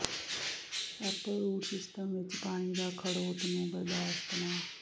Apple root system ਵਿੱਚ ਪਾਣੀ ਦਾ ਖੜੋਤ ਨੂੰ ਬਰਦਾਸ਼ਤ ਨਾ